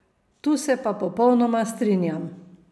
Tu se pa popolnoma strinjam.